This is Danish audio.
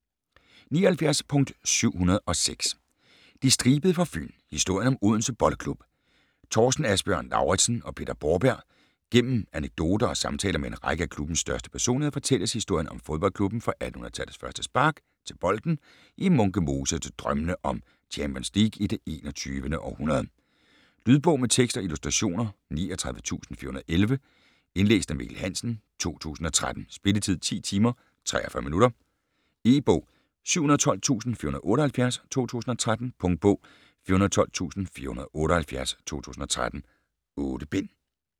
79.706 De Stribede fra Fyn: historien om Odense Boldklub Thorsten Asbjørn Lauritsen og Peter Borberg Gennem anekdoter og samtaler med en række af klubbens største personligheder fortælles historien om fodboldklubben fra 1800-tallets første spark til bolden i Munke Mose til drømmene om Champions League i det 21. århundrede. Lydbog med tekst og illustrationer 39411 Indlæst af Mikkel Hansen, 2013. Spilletid: 10 timer, 43 minutter. E-bog 712478 2013. Punktbog 412478 2013. 8 bind.